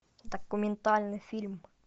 документальный фильм